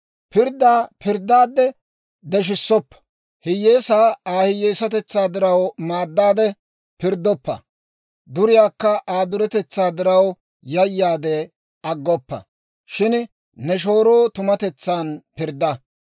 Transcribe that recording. « ‹Pirddaa pirddaadde deshissoppa; hiyyeesaa Aa hiyyeesatetsaa diraw maaddaade pirddoppa; duriyaakka Aa duretetsaa diraw yayaade aggoppa. Shin ne shooroo tumatetsan pirddaa.